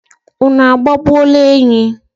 unu agbagbuola enyi?